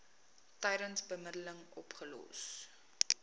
tydens bemiddeling opgelos